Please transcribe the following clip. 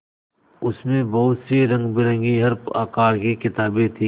उसमें बहुत सी रंगबिरंगी हर आकार की किताबें थीं